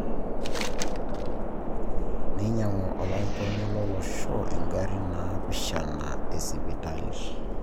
Neinyang'u olarikoni lo losho ingarrin naapishana esipipitali